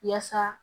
Yaasa